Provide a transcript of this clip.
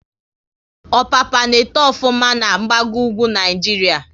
Ọpapa n'eto ofuma na gbago ugwu Naịjiria